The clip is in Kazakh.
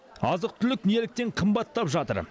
азық түлік неліктен қымбаттап жатыр